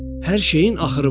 Hər şeyin axırı var.